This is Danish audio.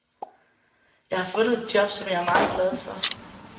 Jeg har fundet et job, som jeg er meget glad for.